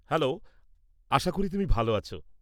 Hello, আশা করি তুমি ভাল আছ।